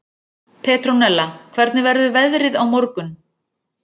Petrónella, hvernig verður veðrið á morgun?